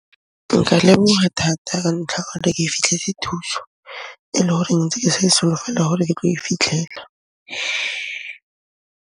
Nka leboha thata ka ntlha ya hore ke e fitlhetse thuso e le horeng ntse ke sa e solofela hore ke tlo e fitlhela.